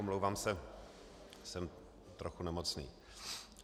Omlouvám se, jsem trochu nemocný.